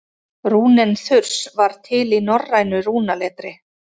rúnin þurs var til í norrænu rúnaletri